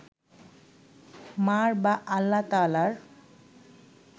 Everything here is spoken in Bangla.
মা’র বা আল্লাহ তায়ালার